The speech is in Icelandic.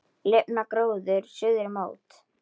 Lifnar gróður suðri mót.